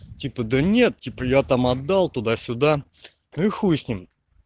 типа да нет типа я там отдал туда сюда и хуй с ним